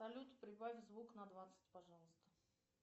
салют прибавь звук на двадцать пожалуйста